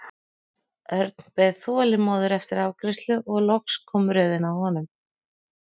Örn beið þolinmóður eftir afgreiðslu og loks kom röðin að honum.